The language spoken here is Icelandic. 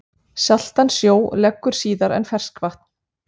Saltan sjó leggur síðar en ferskvatn.